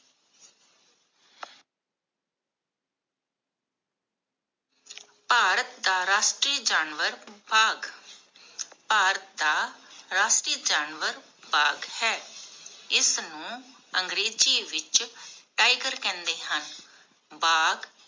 ਭਾਰਤ ਦਾ ਰਾਸ਼ਟਰੀਯ ਜਾਨਵਰ ਬਾਗ਼ ਭਾਰਤ ਦਾ ਰਾਸ਼ਟਰੀਯ ਜਾਨਵਰ ਬਾਗ ਹੈ ਇਸ ਨੂੰ ਅੰਗਰੇਜ਼ੀ ਵਿਚ Tiger ਕਹਿੰਦੇ ਹਨ